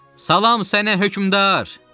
Salam sənə hökmdar!